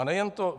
A nejen to.